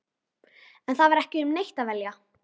En það var ekki um neitt að velja.